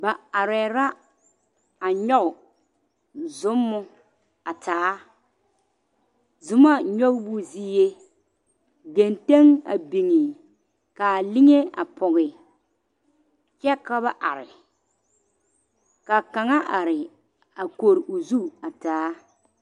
Ba arɛɛ la a nyɔge zommo a taa zomɔ nyɔgebo zie genteŋ a biŋe k,a liŋe a pɔge kyɛ ka ba are ka kaŋa are a kori o zu taa.